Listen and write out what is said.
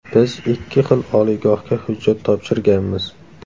Biz ikki xil oliygohga hujjat topshirganmiz.